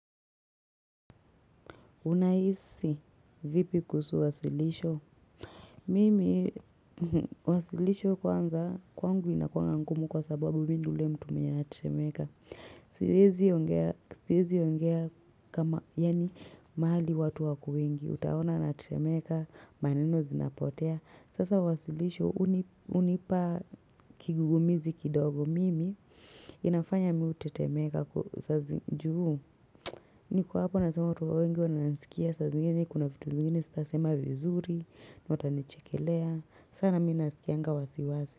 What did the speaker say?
Unaisi vipi kusu wasilisho? Mimi wasilisho kwanza kwangu inakuanga ngumu kwa sababu mini ule mtu menye ana temeka. Siezi ongea siezi ongea kama yani mahali watu wako wengi. Utaona na temeka maneno zinapotea. Sasa wasilisho uni unipa kigugumizi kidogo. Mimi inafanya miu te temeka kusazi juu. Niko hapo nazema watu wengi wanansikia sa zingine kuna vitu zingine stasema vizuri na watanichekelea sana minasikianga wasiwasi.